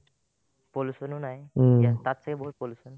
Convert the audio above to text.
pollution ও নাই ইয়াত তাত ছাগে বহুত pollution